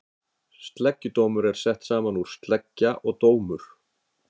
Sleggjudómur er sett saman úr sleggja og dómur.